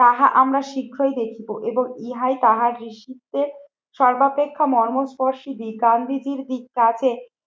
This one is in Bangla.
তাহা আমরা শীঘ্রই দেখিবো এবং ইহাই তাহার ঋষিদের সর্বাপেক্ষা মর্মস্পর্শী দিক, গান্ধীজির দিক তাতে